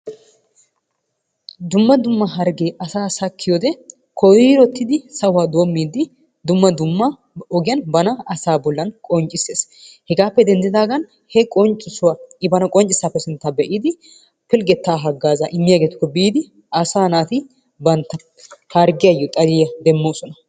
Dumma dumma harggee asaa sakkiyode koyrottidi sahuwa doommiiddi dumma dumma bana asaa bollan qonccissees. Hegaappe denddidaagan he qonccissuwa I baana qonccissaappe sinttan be'idi pilggettaa haggaazaa immiyageetukko biidi asaa naati bantta harggiyayyo xaliya demmoosona.